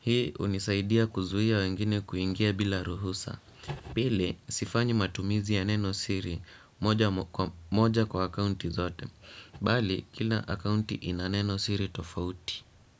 Hii unisaidia kuzuia wengine kuingia bila ruhusa. Pili sifanyi matumizi ya neno siri moja kwa akaunti zote. Bali kila akaunti ina neno siri tofauti.